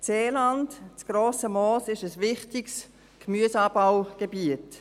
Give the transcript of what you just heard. Das Seeland, das «Grosse Moos», ist ein wichtiges Gemüseanbaugebiet.